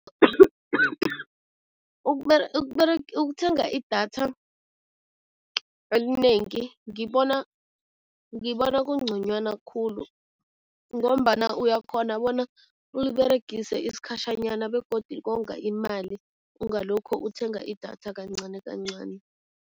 Ukukuthenga idatha elinengi ngibona kungconywana khulu ngombana uyakghona bona uliberegise isikhatjhanyana begodu konga imali, ungalokho uthenga idatha kancanikancani.